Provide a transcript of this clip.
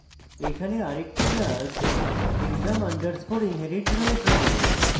এখানে আরেকটি class exam underscore inherit রয়েছে